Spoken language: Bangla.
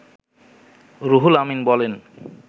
রুহুল আমিন বলেন